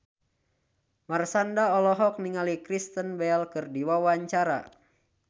Marshanda olohok ningali Kristen Bell keur diwawancara